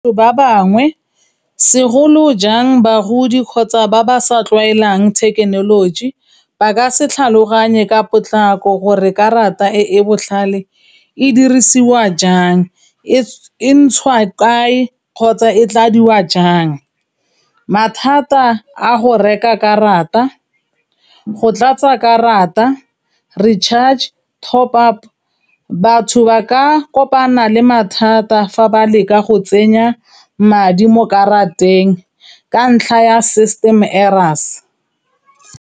Ba bangwe segolo jang bagodi kgotsa ba ba sa tlwaelang thekenoloji, ba ka se tlhaloganye ka potlako gore karata e e botlhale e dirisiwa jang, e ntshwa kae kgotsa ko tladiwa jang, mathata a go reka karata, go tlatsa karata, re-charge, top up. Batho ba ka kopana le mathata fa ba leka go tsenya madi mo karateng ka ntlha ya system errors.